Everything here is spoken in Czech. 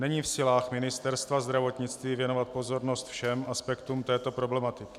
Není v silách Ministerstva zdravotnictví věnovat pozornost všem aspektům této problematiky.